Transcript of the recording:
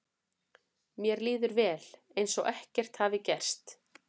Mér líður vel, eins og ekkert hafi gerst.